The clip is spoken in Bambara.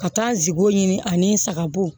Ka taa zowo ɲini ani n saga bo